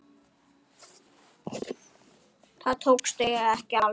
Það tókst ekki alveg.